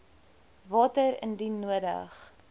water indien nodig